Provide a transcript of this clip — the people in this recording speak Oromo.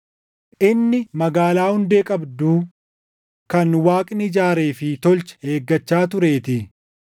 Inni magaalaa hundee qabdu kan Waaqni ijaaree fi tolche eeggachaa tureetii.